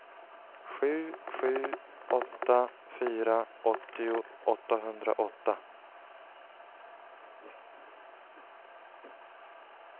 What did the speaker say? sju sju åtta fyra åttio åttahundraåtta